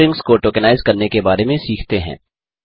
strings को tokenize करने के बारे में सीखते हैं